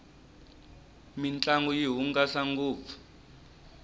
mintlangu yi hungasa ngopfu